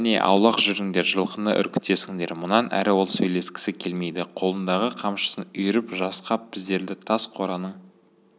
кәне аулақ жүріңдер жылқыны үркітесіңдер мұнан әрі ол сөйлескісі келмейді қолындағы қамшысын үйіріп жасқап біздерді тас қораның